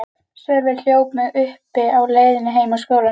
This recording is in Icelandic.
Sölvi hljóp mig uppi á leiðinni heim úr skólanum.